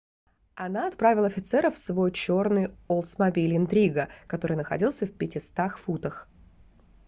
она отправила офицеров в свой чёрный олдсмобиль интрига который находился в 500 футах